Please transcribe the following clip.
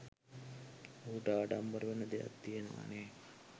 ඌට ආඩම්බර වෙන්න දෙයක් තියනවනේ.